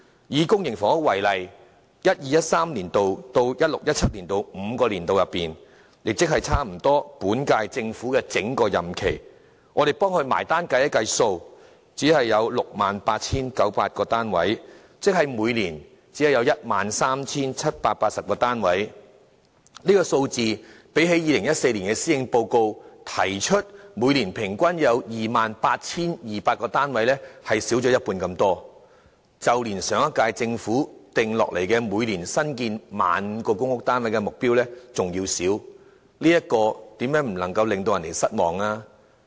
以公營房屋為例，就 2012-2013 年度至 2016-2017 年度的5個年度，總結而言，只有 68,900 個單位，即每年只有 13,780 個單位，這個數字較2014年施政報告提出每年平均有 28,200 個單位少了一半之多，即較上一屆政府訂下每年新建 15,000 個公屋單位的目標還要少，試問又怎能不令人失望呢？